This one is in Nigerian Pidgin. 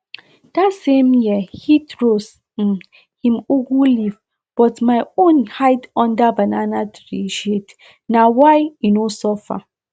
that same year heat roast um him ugu leaves but my own hide under banana tree shadena why e no suffer